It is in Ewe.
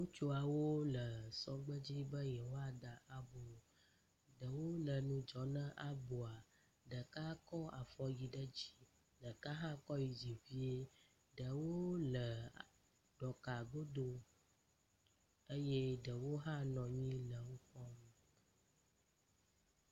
Ŋutsuawo le sɔgbe dzi be yeawoda abo. Ɖewo le nudzɔ na aboa. Ɖeka kɔ afɔ yi ɖe dzi, ɖeka hã kɔ yi dzi vie. Ɖewo le ɖɔka godo eye ɖewo hã nɔ anyi nu kpɔm.